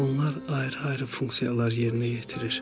Onlar ayrı-ayrı funksiyalar yerinə yetirir.